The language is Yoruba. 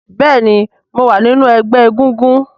béèni mọ wá nínú egbé egúngún.